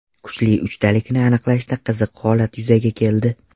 Kuchli uchtalikni aniqlashda qiziq holat yuzaga keldi.